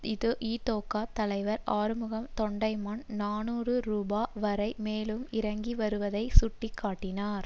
இதொகா தலைவர் ஆறுமுகம் தொண்டமான் நாநூறு ரூபா வரை மேலும் இறங்கிவருவதை சுட்டி காட்டினார்